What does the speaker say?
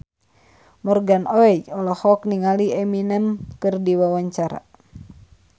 Morgan Oey olohok ningali Eminem keur diwawancara